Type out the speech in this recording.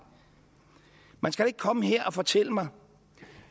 man skal ikke komme her og fortælle mig